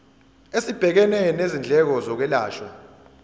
esibhekene nezindleko zokwelashwa